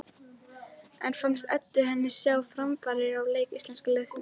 En fannst Eddu henni sjá framfarir á leik íslenska liðsins?